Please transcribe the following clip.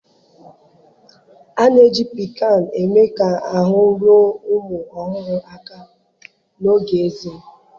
a na-eji piccan eme ka ahụ́ ruo ụmụ ọhụrụ aka n'oge ezé